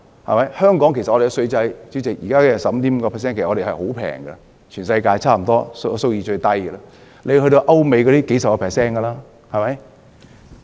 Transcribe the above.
主席，香港現時 15.5% 的稅率其實十分低，在全世界差不多是數一數二的低，歐美的稅率是數十個百分比。